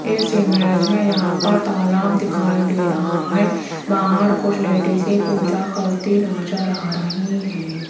इस इमेज मे यहां पर तालाब दिखाई दे रहा है बाहर कुछ लेडिसे पूजा करती नज़र आ रही है।